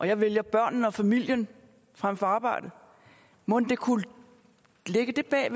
jeg vælger børnene og familien frem for arbejdet mon der kunne ligge det bag